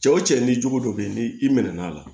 Cɛ wo cɛ ni cogo dɔ be yen ni i mɛnn'a la